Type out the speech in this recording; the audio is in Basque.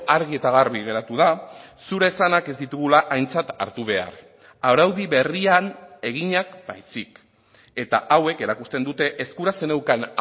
argi eta garbi geratu da zure esanak ez ditugula aintzat hartu behar araudi berrian eginak baizik eta hauek erakusten dute eskura zeneukan